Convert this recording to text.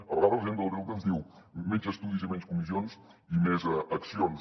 a vegades la gent del delta ens diu menys estudis i menys comissions i més accions